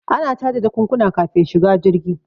Ana caje jakunkuna kafin shiga jirgi